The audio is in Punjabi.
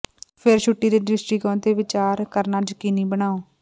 ਫਿਰ ਛੁੱਟੀ ਦੇ ਦ੍ਰਿਸ਼ਟੀਕੋਣ ਤੇ ਵਿਚਾਰ ਕਰਨਾ ਯਕੀਨੀ ਬਣਾਓ